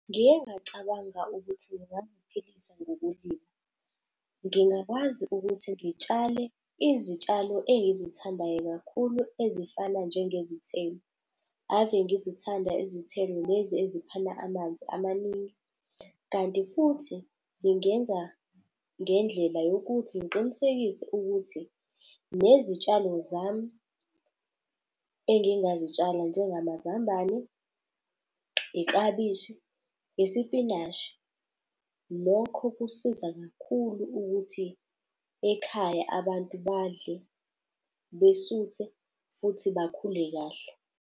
Ngike ngacabanga ukuthi ngingaziphilisa ngokulima. Ngingakwazi ukuthi ngitshale izitshalo engizithandayo kakhulu ezifana njengezithelo. Ave ngizithanda izithelo lezi eziphana amanzi amaningi. Kanti futhi ngingenza ngendlela yokuthi ngiqinisekise ukuthi nezitshalo zami engingazitshala njengamazambane, iklabishi, isipinashi. Lokho kusiza kakhulu ukuthi ekhaya abantu badle, besuthe, futhi bakhule kahle.